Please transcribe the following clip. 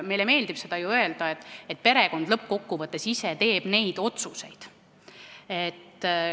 Meile meeldib ju öelda, et perekond lõppkokkuvõttes teeb neid otsuseid ise.